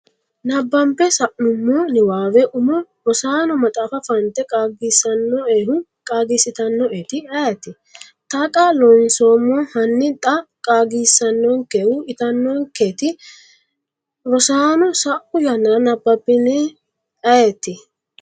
nabbambe sa’nummo niwaawe umo Rosaano maxaafa fante qaagisanno’ehu qaagiissitannoeti ayeete? Taqa Loonseemmo Hanni xa qaagiissannonkehu itannonketi Rosaano, sa’u yannara nabbabbine ayeeti?